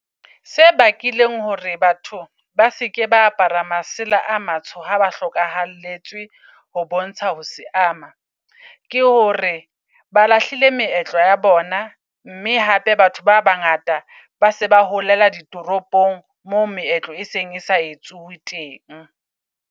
Se bakileng hore batho ba seke ba apara masela a matsho, ha ba hlokahalletsweng ho bontsha ho seama. Ke hore ba lahlile meetlo ya bona. Mme hape batho ba bangata ba se ba holela ditoropong mo meetlo e seng e sa etsuwe teng.